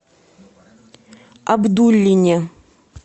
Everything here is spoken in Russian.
абдуллине